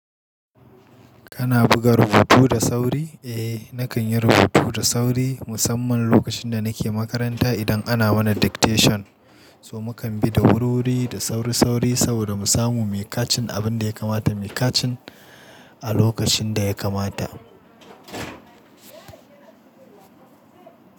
Kana buga rubutu da sauri? Eh nakan yi rubutu da sauri musamman lokacin da nake makaranta idan ana mana dictation. So mu kan bi da wurruri da sauri sauri saboda mu samu me kacin abin da ya kamata mu kacin a lokacin da ya kamata.